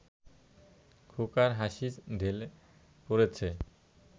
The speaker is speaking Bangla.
খোকার হাসি ঢেলে পড়েছে